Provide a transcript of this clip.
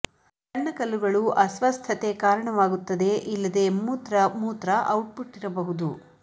ಸಣ್ಣ ಕಲ್ಲುಗಳು ಅಸ್ವಸ್ಥತೆ ಕಾರಣವಾಗುತ್ತದೆ ಇಲ್ಲದೆ ಮೂತ್ರ ಮೂತ್ರ ಔಟ್ ಪುಟ್ ಇರಬಹುದು